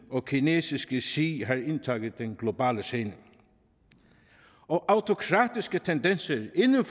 og kinesiske xi har indtaget den globale scene autokratiske tendenser inden